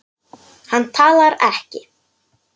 Hann talar ekki.